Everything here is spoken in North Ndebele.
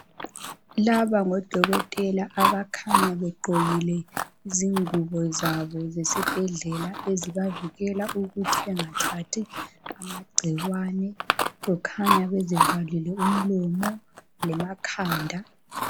Laba ngodokotela abakhanya begqokile izingubo zabo zesibhedlela ezibavikela ukuthi bengathathi amagcikwane kukhanya bezivalile umlomo lemakhanda.